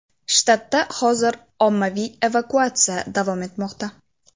Shtatda hozir ommaviy evakuatsiya davom etmoqda.